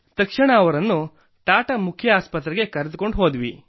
ತಕ್ಷಣ ಅವರನ್ನು ಟಾಟಾ ಮುಖ್ಯ ಆಸ್ಪತ್ರೆಗೆ ಕರೆದುಕೊಂಡು ಹೋದೆವು